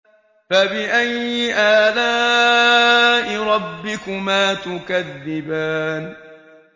فَبِأَيِّ آلَاءِ رَبِّكُمَا تُكَذِّبَانِ